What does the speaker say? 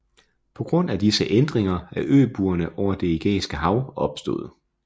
På grund af disse ændringer er øbuerne over Det Ægæiske Hav opstået